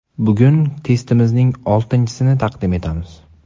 Bugun testimizning oltinchisini taqdim etamiz.